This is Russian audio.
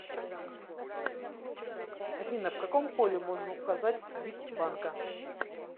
афина в каком поле можно указать бик банка